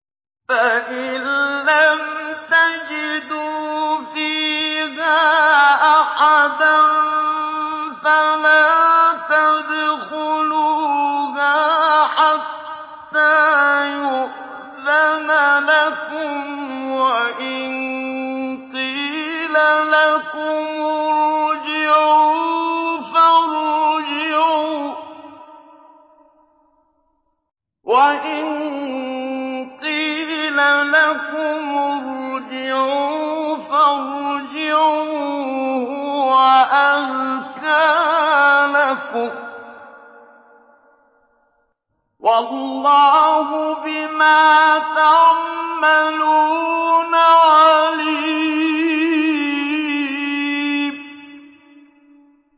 فَإِن لَّمْ تَجِدُوا فِيهَا أَحَدًا فَلَا تَدْخُلُوهَا حَتَّىٰ يُؤْذَنَ لَكُمْ ۖ وَإِن قِيلَ لَكُمُ ارْجِعُوا فَارْجِعُوا ۖ هُوَ أَزْكَىٰ لَكُمْ ۚ وَاللَّهُ بِمَا تَعْمَلُونَ عَلِيمٌ